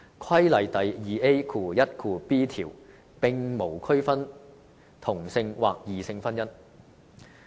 《規例》第 2AiB 條並無區分同性或異性婚姻。